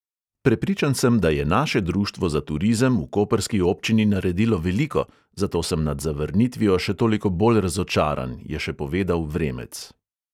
Prepričan sem, da je naše društvo za turizem v koprski občini naredilo veliko, zato sem nad zavrnitvijo še toliko bolj razočaran, je še povedal vremec.